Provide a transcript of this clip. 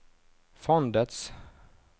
fondets